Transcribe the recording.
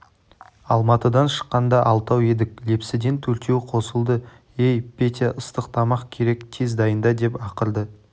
алматыдан шыққанда алтау едік лепсіден төртеу қосылды ей петя ыстық тамақ керек тез дайында деп ақырды